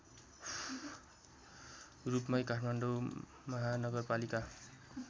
रूपमै काठमाडौँ महानगरपालिका